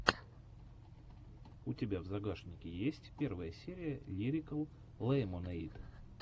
у тебя в загашнике есть первая серия лирикал лемонэйд